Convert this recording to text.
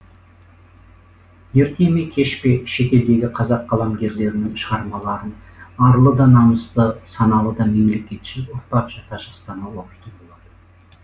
ерте ме кеш пе шетелдегі қазақ қаламгерлерінің шығармаларын арлы да намысты саналы да мемлекетшіл ұрпақ жата жастана оқитын болады